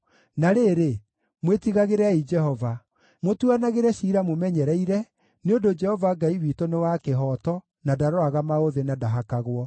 Na rĩrĩ, mwĩtigagĩrei Jehova. Mũtuanagĩre ciira mũmenyereire, nĩ ũndũ Jehova Ngai witũ nĩ wa kĩhooto na ndaroraga maũthĩ na ndahakagwo.”